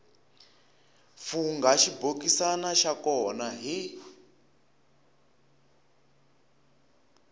fungha xibokisana xa kona hi